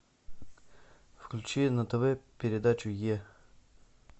включи на тв передачу е